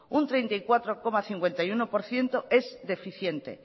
un treinta y cuatro coma cincuenta y uno por ciento es deficiente